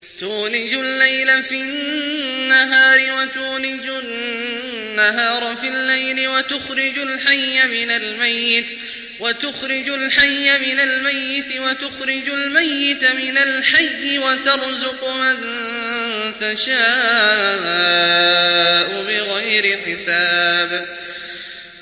تُولِجُ اللَّيْلَ فِي النَّهَارِ وَتُولِجُ النَّهَارَ فِي اللَّيْلِ ۖ وَتُخْرِجُ الْحَيَّ مِنَ الْمَيِّتِ وَتُخْرِجُ الْمَيِّتَ مِنَ الْحَيِّ ۖ وَتَرْزُقُ مَن تَشَاءُ بِغَيْرِ حِسَابٍ